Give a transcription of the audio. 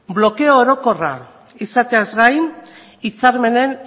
blokeo orokorra izateaz gain hitzarmenen